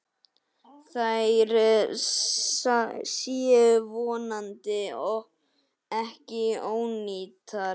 Þær séu vonandi ekki ónýtar.